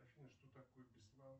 афина что такое беслан